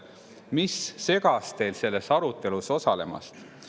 Mis segas teil selles arutelus osalemast?